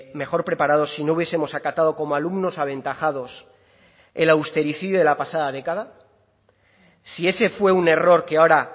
mejor preparados si no hubiesemos acatado como alumnos aventajados el austericidio de la pasada década si ese fue un error que ahora